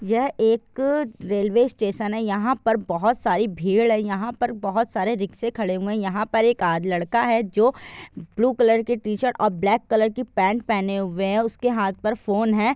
यह एक अ रेल्वे स्टेशन है यहा पर सारी बहोत सारी भीड़ है यहा पर बहोत सारे रिकसे खड़े हुए है। यहा पर एक आ लड़का जो ब्लू कलर की टीशर्ट और ब्लैक कलर का पैंट पहने हुए है उसके हाथ पर फोन है।